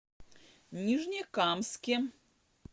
нижнекамске